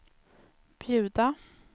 bjuda